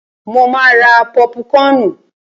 Ṣo ma ra pọ́púkọnù?